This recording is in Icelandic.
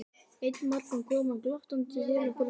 Einn morgun kom hann glottandi til okkar og sagði